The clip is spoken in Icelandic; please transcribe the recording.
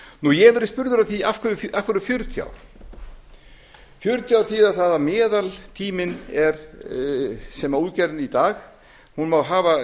ég hef verið spurður að því af hverju fjörutíu ár fjörutíu ár þýða það að meðaltíminn er að útgerðin í dag má hafa